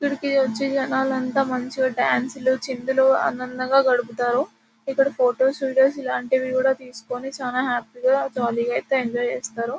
ఇక్కడికి వచ్చి జనాలంతా మంచిగా డాన్సులు చిందులు ఆనందంగా గడుపుతారు ఇక్కడ ఫొటోస్ వీడియోస్ ఇలాంటివి కూడా తీసుకుని చాలా హ్యాపీగా జాలీగా అయితే ఎంజాయ్ అయితే చేస్తారు.